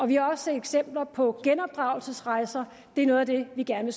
vi har også set eksempler på genopdragelsesrejser det er noget af det vi gerne